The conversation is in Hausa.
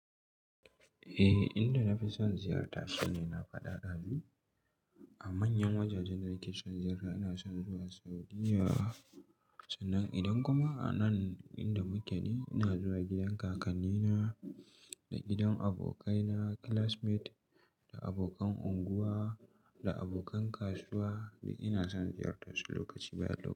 Eh, inda na fi son ziyarta shine na faɗa ɗazun. A manyan wajajen da nike son ziyarta ina son zuwa Saudiya. Sannan idan kuma a nan inda muke ne, ina zuwa gidan kakannina da gidan abokaina classmate da abokan unguwa da abokan kasuwa. Duk ina son ziyartarsu lokaci bayan lokaci.